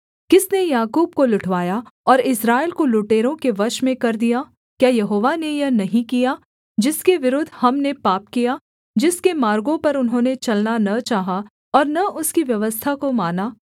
किसने याकूब को लुटवाया और इस्राएल को लुटेरों के वश में कर दिया क्या यहोवा ने यह नहीं किया जिसके विरुद्ध हमने पाप किया जिसके मार्गों पर उन्होंने चलना न चाहा और न उसकी व्यवस्था को माना